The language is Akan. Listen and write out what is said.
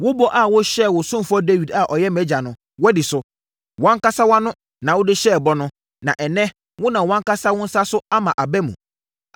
Wo bɔ a wohyɛɛ wo ɔsomfoɔ Dawid a ɔyɛ mʼagya no, woadi so. Wʼankasa wʼano na wode hyɛɛ bɔ no, na ɛnnɛ, wonam wʼankasa wo nsa so ama aba mu.